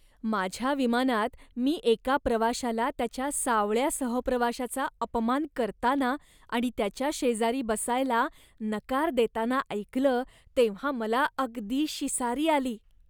माझ्या विमानात मी एका प्रवाशाला त्याच्या सावळ्या सहप्रवाशाचा अपमान करताना आणि त्याच्या शेजारी बसायला नकार देताना ऐकलं तेव्हा मला अगदी शिसारी आली.